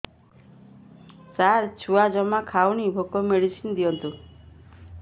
ସାର ଛୁଆ ଜମା ଖାଉନି ଭୋକ ମେଡିସିନ ଦିଅନ୍ତୁ